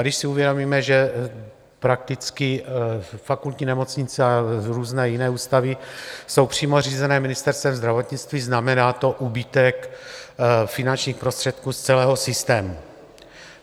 A když si uvědomíme, že prakticky fakultní nemocnice a různé jiné ústavy jsou přímo řízené Ministerstvem zdravotnictví, znamená to úbytek finančních prostředků z celého systému.